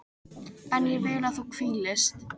En ég vil að þú hvílist.